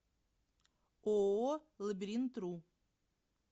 ооо лабиринтру